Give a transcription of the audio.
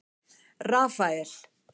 Rafael